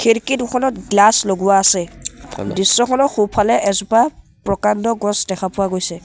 খিৰিকী দুখনত গ্লাছ লগোৱা আছে দৃশ্যখনৰ সোঁফালে এজোপা প্ৰকাণ্ড গছ দেখা পোৱা গৈছে।